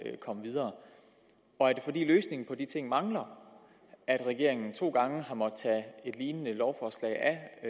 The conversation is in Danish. komme videre er det fordi løsningen på de ting mangler at regeringen to gange har måttet tage et lignende lovforslag af